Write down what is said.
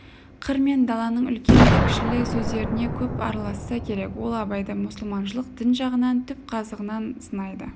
қыр мен даланың үлкенді-кішілі сөздеріне көп араласса керек ол абайды мұсылманшылдық дін жағынан түп қазығынан сынайды